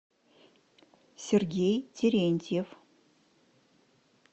сергей терентьев